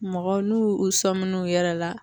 Mɔgɔw n'u u sɔmi n'u yɛrɛ la